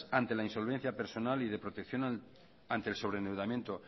ante la insolvencia personal y de protección ante el sobreendeudamiento